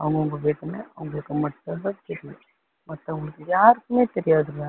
அவங்கவங்க வேதனை அவங்களுக்கு மட்டும் தான் தெரியும், மத்தவங்களுக்கு யாருக்குமே தெரியாதுங்க